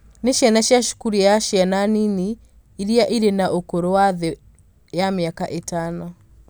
nĩ ciana cia cukuru ya ciana nini iria irĩ na ũkũrũ wa thĩ ya mĩaka ĩtano